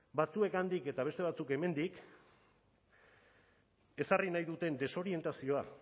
batzuek handik eta beste batzuk hemendik ezarri nahi duten desorientazioa